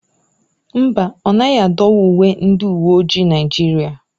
Mba ọ naghị adọwa uwe ndị uwe ojii Naijiria.